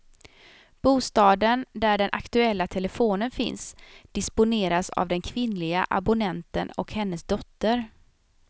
Bostaden där den aktuella telefonen finns disponeras av den kvinnliga abonnenten och hennes dotter.